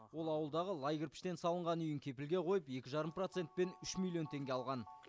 ол ауылдағы лай кірпіштен салынған үйін кепілге қойып екі жарым процентпен үш миллион теңге алған